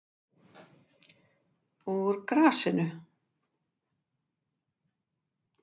Úr grasinu